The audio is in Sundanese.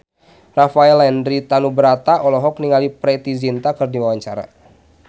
Rafael Landry Tanubrata olohok ningali Preity Zinta keur diwawancara